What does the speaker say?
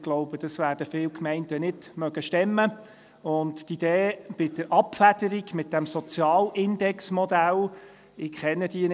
Ich glaube, das werden viele Gemeinden nicht stemmen können, und die Idee bei der Abfederung mit diesem Sozialindexmodell könnte angefochten werden.